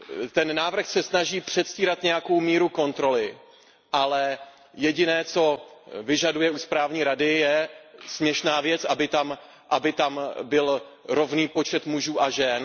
Ten návrh se snaží předstírat nějakou míru kontroly, ale jediné, co vyžaduje od správní rady, je směšná věc aby tam byl rovný počet mužů a žen.